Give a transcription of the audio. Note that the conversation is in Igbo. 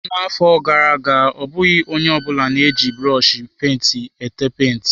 Na-afọ gara aga, ọ bụghị onye ọ bụla na-eji brọshi penti ete penti.